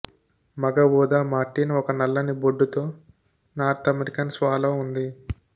మగ ఊదా మార్టిన్ ఒక నల్లని బొడ్డుతో నార్త్ అమెరికన్ స్వాలో ఉంది